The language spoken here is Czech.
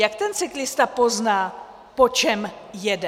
Jak ten cyklista pozná, po čem jede?